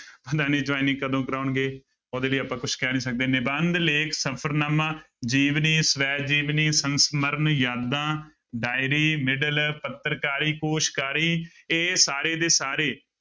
ਪਤਾ ਨੀ joining ਕਦੋਂ ਕਰਵਾਉਣਗੇ ਉਹਦੇ ਲਈ ਆਪਾਂ ਕੁਛ ਕਹਿ ਨੀ ਸਕਦੇ, ਨਿਬੰਧ, ਲੇਖ, ਸਫ਼ਰਨਾਮਾ, ਜੀਵਨੀ, ਸ੍ਵੈ ਜੀਵਨੀ, ਸੰਸਮਰਨ, ਯਾਦਾਂ diary ਮਿਡਲ, ਪੱਤਰਕਾਰੀ, ਕੋਸਕਾਰੀ ਇਹ ਸਾਰੇ ਦੇ ਸਾਰੇ